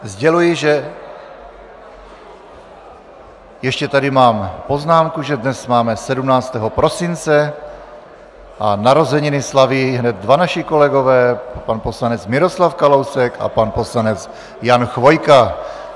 Sděluji, že ještě tady mám poznámku, že dnes máme 17. prosince a narozeniny slaví hned dva naši kolegové, pan poslanec Miroslav Kalousek a pan poslanec Jan Chvojka.